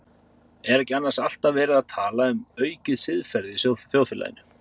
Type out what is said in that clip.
Er ekki annars alltaf verið að tala um aukið siðferði í þjóðfélaginu?